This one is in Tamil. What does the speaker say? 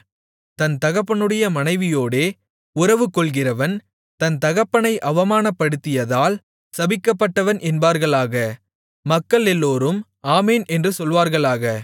தன் தகப்பனுடைய மனைவியோடே உறவுகொள்கிறவன் தன் தகப்பனை அவமானப்படுத்தியதால் சபிக்கப்பட்டவன் என்பார்களாக மக்களெல்லோரும் ஆமென் என்று சொல்வார்களாக